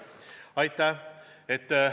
Aitäh!